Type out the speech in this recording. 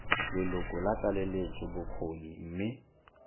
leloko la tlaleletso bokgoni mme